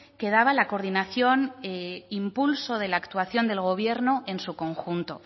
quedaba la coordinación e impulso de la actuación del gobierno en su conjunto